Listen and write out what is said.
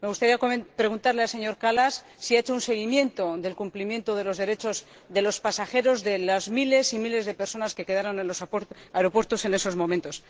Me gustaría preguntarle al señor Kallas si ha hecho un seguimiento del cumplimiento de los derechos de los pasajeros, de las miles y miles de personas que se quedaron en los aeropuertos en esos momentos.